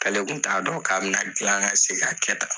K'ale kun t'a dɔn k'a bɛna gilan ka se ka kɛ tan